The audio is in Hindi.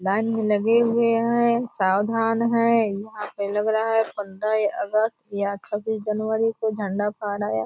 लाइन में लगे हुए हैं सावधान हैं वहां पर लग रहा है पंद्रह अगस्त या छब्बीस जनवरी को झंडा फहराया --